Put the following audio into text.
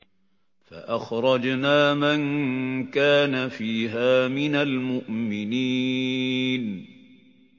فَأَخْرَجْنَا مَن كَانَ فِيهَا مِنَ الْمُؤْمِنِينَ